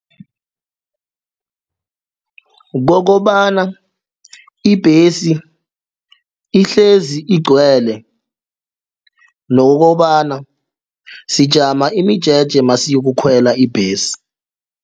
Kokobana ibhesi ihlezi igcwele nokobana sijama imijeje masiyoku khwela ibhesi.